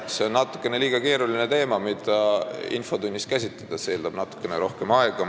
Aga see on liiga keeruline teema, mida infotunnis käsitleda, see eeldab natukene rohkem aega.